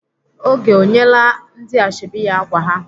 Oge ọ nyeela ndị ashọbị ya ákwà ha?